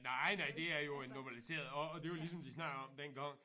Nej nej det er jo en normaliseret og og det ligesom de snakker om dengang